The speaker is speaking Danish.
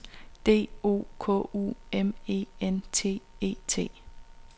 D O K U M E N T E T